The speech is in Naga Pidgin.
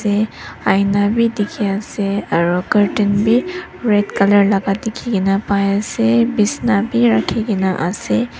te aina bhi dekhi ase aru curtain bhi red colour laga dekhi pai ase bishna rakhi kena ase.